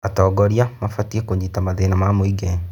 Atongoria mabatiĩ kũnyita mathĩna ma mũingĩ.